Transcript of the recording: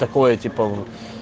какое типа